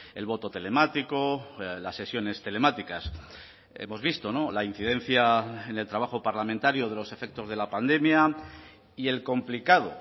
el voto telemático las sesiones telemáticas hemos visto la incidencia en el trabajo parlamentario de los efectos de la pandemia y el complicado